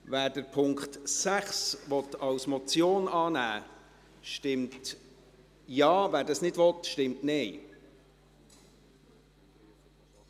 Wer den Punkt 6 als Motion annehmen will, stimmt Ja, wer dies nicht will, stimmt Nein.